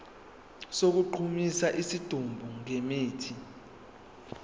sokugqumisa isidumbu ngemithi